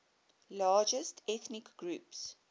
largest ethnic groups